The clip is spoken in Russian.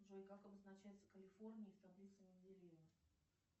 джой как обозначается калифорний в таблице менделеева